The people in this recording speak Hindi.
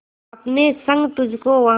अपने संग तुझको वहां